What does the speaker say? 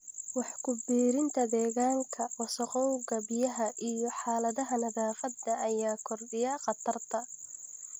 Wax ku biirinta deegaanka: Wasakhowga biyaha iyo xaaladaha nadaafadda ayaa kordhiya khatarta.